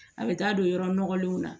A bɛ taa don yɔrɔ nɔgɔlenw na